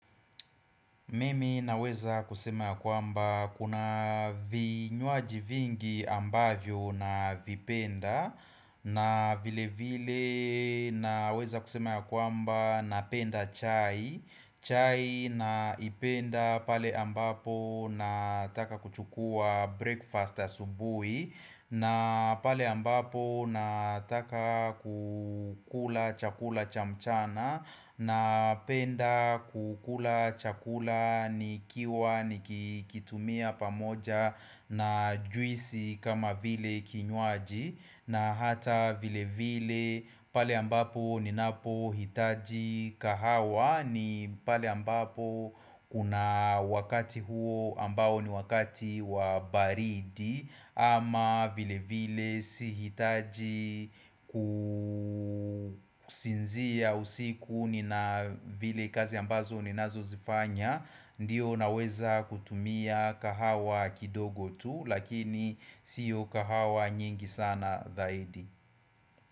Mimi naweza kusema ya kwamba kuna vinywaji vingi ambavyo navipenda na vile vile naweza kusema ya kwamba na penda chai chai naipenda pale ambapo nataka kuchukua breakfast asubuhi na pale ambapo na taka kukula chakula chamchana Napenda kukula chakula nikiwa nikikitumia pamoja na juisi kama vile kinywaji na hata vile vile pale ambapo ninapohitaji kahawa ni pale ambapo kuna wakati huo ambao ni wakati wa baridi ama vile vile sihitaji kusinzia usiku ni na vile kazi ambazo ni nazo zifanya Ndiyo naweza kutumia kahawa kidogo tu lakini sio kahawa nyingi sana dhaidi.